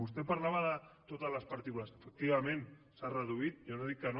vostè parlava de totes les partícules efectivament s’han reduït jo no dic que no